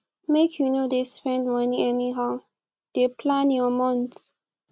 make you no dey spend moni anyhow dey plan your month